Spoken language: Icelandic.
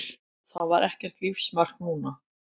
Það var ekkert lífsmark núna.